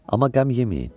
Amma qəm yeməyin.